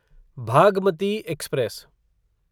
Bhagmati express